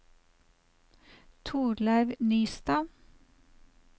Torleiv Nystad